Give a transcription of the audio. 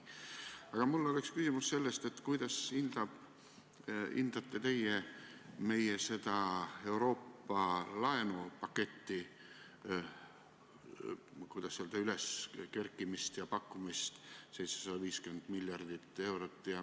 Aga mul on küsimus selle kohta, kuidas hindate teie seda Euroopa laenupaketti – 750 miljardit eurot.